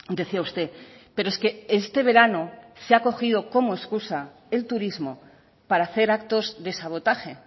decía usted pero es que este verano se ha cogido como escusa el turismo para hacer actos de sabotaje